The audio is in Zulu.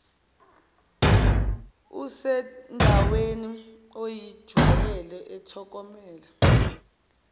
usendaweni oyijwayele ethokomele